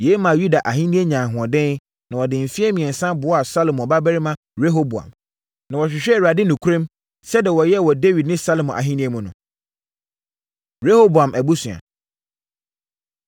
Yei maa Yuda ahennie nyaa ahoɔden, na wɔde mfeɛ mmiɛnsa boaa Salomo babarima Rehoboam, na wɔhwehwɛɛ Awurade nokorɛm, sɛdeɛ wɔyɛɛ wɔ Dawid ne Salomo ahennie mu no. Rehoboam Abusua